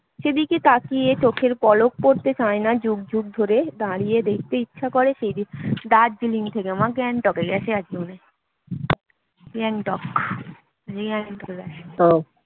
সেদিকে তাকিয়ে চোখের পলক পড়তে চাই না যুগ যুগ ধরে দাঁড়িয়ে দেখতে ইচ্ছে করে সেই দৃশ্য দার্জিলিং থেকে মা গ্যাংটক এ